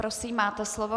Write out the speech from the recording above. Prosím, máte slovo.